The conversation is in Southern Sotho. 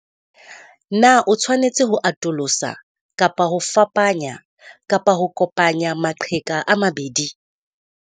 Na o tshwanetse ho atolosa kapa ho fapanya kapa ho kopanya maqheka a mabedi?